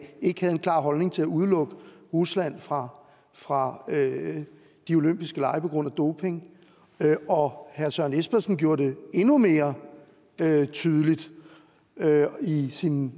ikke havde en klar holdning til at udelukke rusland fra fra de olympiske lege på grund af doping og herre søren espersen gjorde det endnu mere tydeligt i sin